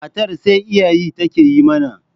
Matar sai iyayi take yi mana